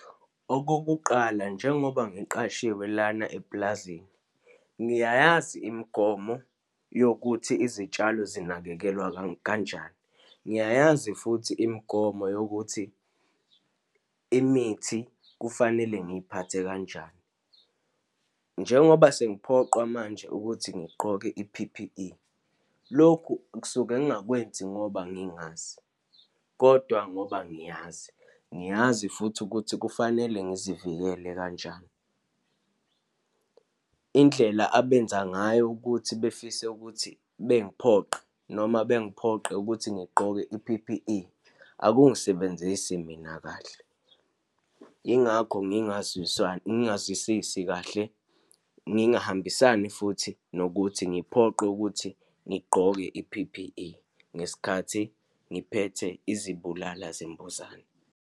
Okokuqala, njengoba ngiqashiwe lana epulazini, ngiyayazi imigomo yokuthi izitshalo zinakekelwa kanjani. Ngiyayazi futhi imigomo yokuthi imithi kufanele ngiyiphathe kanjani. Njengoba sengiphoqwa manje ukuthi ngiqoke i-P_P_E, lokhu kusuke ngingakwenzi ngoba ngingazi, kodwa ngoba ngiyazi, ngiyazi futhi ukuthi kufanele ngizivikele kanjani. Indlela abenza ngayo ukuthi befise ukuthi bengiphoqe, noma bengiphoqe ukuthi ngigqoke i-P_P_E, akungisebenzise mina kahle. Yingakho ngingazwisisi kahle, ngingahambisani futhi nokuthi ngiphoqwe ukuthi ngigqoke i-P_P_E ngesikhathi ngiphethe izibulala zimbuzane.